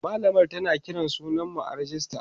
mallamar tana Kiran sunan mu a rejista